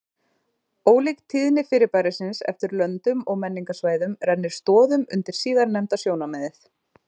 Ólík tíðni fyrirbærisins eftir löndum og menningarsvæðum rennir stoðum undir síðarnefnda sjónarmiðið.